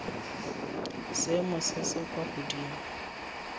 seemo se se kwa godimo